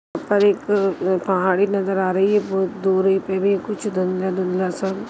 और एक पहाड़ी नज़र आ रही है बहुत दूरी पे भी कुछ धुन्दला-धुन्दला सा--